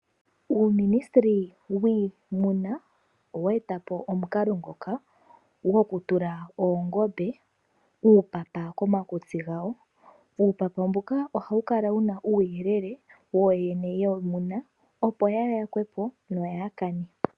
Uuministeli wiimuna owa eta po omukalo ngoka go kutula oongombe uupapa komakutsi gadho. Uupapa mbuka oha wu kala wuna uuyelele wooyene yiimuna, opo kaayi yakwepo yo yaa kane.